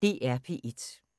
DR P1